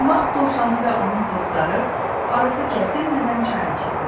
Mart dovşanı və onun dostları arası kəsilmədən çay içirdilər.